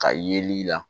Ka yeli la